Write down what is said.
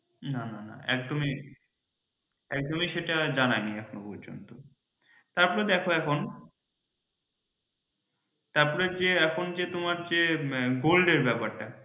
না না না একদমই সেটা জানায়নি এখনও পর্যন্ত তারপরে দেখো এখন তারপরে যে এখন যে তোমার যে gold এর ব্যাপার টা